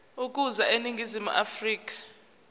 ukuza eningizimu afrika